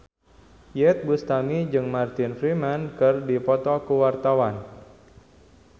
Iyeth Bustami jeung Martin Freeman keur dipoto ku wartawan